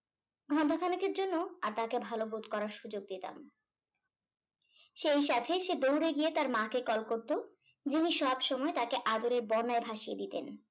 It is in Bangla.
ঘন্টা খানেকের জন্য আর তাকে ভালো বোধ করার সুযোগ দিতাম সেই সাথে সে দৌড়ে গিয়ে তার মা কে call করতো যিনি সবসময় তাকে আদরের বোনের ভাসিয়ে দিতেন